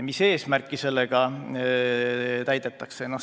Mis eesmärki sellega täidetakse?